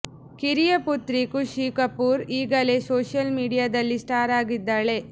ಕಿರಿಯ ಪುತ್ರಿ ಖುಷಿ ಕಪೂರ್ ಈಗಲೇ ಸೋಶಿಯಲ್ ಮೀಡಿಯಾದಲ್ಲಿ ಸ್ಟಾರ್ ಆಗಿದ್ದಾಳೆ